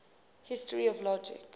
history of logic